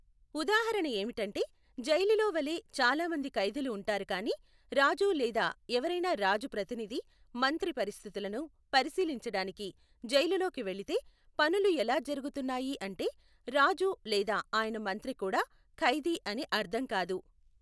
ఉదాహరణ ఏమిటంటే, జైలులో వలె చాలా మంది ఖైదీలు ఉంటారు కానీ రాజు లేదా ఎవరైనా రాజు ప్రతినిధి మంత్రి పరిస్థితులను పరిశీలించడానికి జైలులోకి వెళ్లితే, పనులు ఎలా జరుగుతున్నాయి అంటే, రాజు లేదా ఆయన మంత్రి కూడా ఖైదీ అని అర్థం కాదు.